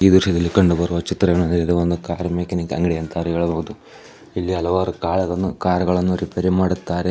ಈ ದೃಶ್ಯದಲ್ಲಿ ಕಂಡುಬರುವ ಚಿತ್ರಣ ಇದು ಒಂದು ಕಾರ್ ಮೆಕ್ಯಾನಿಕ್ ಅಂಗಡಿ ಅಂತಾ ಹೇಳಬಹುದು. ಇಲ್ಲಿ ಹಲವಾರು ಕಾಲಗಳು ಕಾರ್ ಗಳನ್ನೂ ರಿಪೇರ್ ರೀ ಮಾಡುತ್ತಾರೆ.